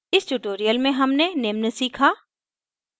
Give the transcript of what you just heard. इस tutorial में हमने निम्न सीखा